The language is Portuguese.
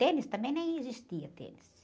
Tênis também nem existia, tênis.